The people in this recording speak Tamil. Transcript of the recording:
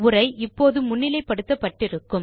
உரை இப்போதும் முன்னிலை படுத்தப்பட்டு இருக்கும்